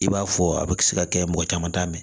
I b'a fɔ a bɛ se ka kɛ mɔgɔ caman t'a mɛn